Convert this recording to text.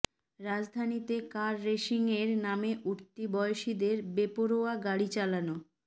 রাজধানীতে কার রেসিংয়ের নামে উঠতি বয়সীদের বেপরোয়া গাড়ি চালনা